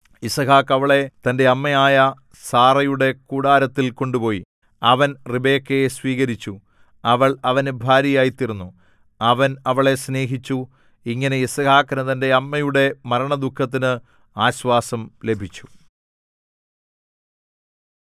യിസ്ഹാക്ക് അവളെ തന്റെ അമ്മയായ സാറയുടെ കൂടാരത്തിൽ കൊണ്ടുപോയി അവൻ റിബെക്കയെ സ്വീകരിച്ചു അവൾ അവന് ഭാര്യയായിത്തീർന്നു അവൻ അവളെ സ്നേഹിച്ചു ഇങ്ങനെ യിസ്ഹാക്കിനു തന്റെ അമ്മയുടെ മരണദുഃഖത്തിന് ആശ്വാസം ലഭിച്ചു